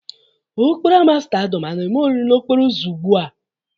Ọ kpọrọ ámá stádịọm a na-eme oriri n'okporo ụzọ ugbu a?